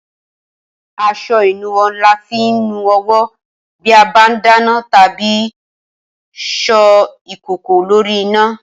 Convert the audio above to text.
As̩o̩ ìnuwó̩ ni a fi ń nu o̩wó̩ bí a bá ń dáná tàbí so̩ ìkòkò lórí iná